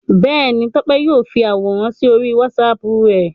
Bẹ́ẹ̀ni, Tọ́pẹ́ yóò fi àwòrán sí orí WhatsApp rẹ̀.